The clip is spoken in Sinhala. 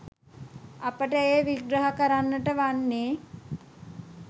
අපට එය විග්‍රහ කරන්නට වන්නේ